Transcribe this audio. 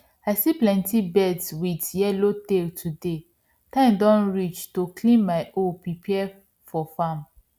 i see plenty birds with yellow tail today time don reach to clean my hoe prepare fir farm